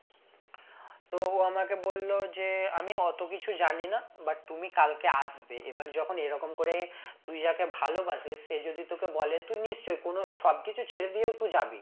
তো ও আমাকে বললো যে আমি অত কিছু জানি না but তুমি কালকে আসবে এবার যখন এরকম করে তুই যাকে ভালোবাসিস সে যদি তোকে বলে তুই নিশ্চই কোনো সব কিছু ছেড়ে দিয়েও তুই জাবি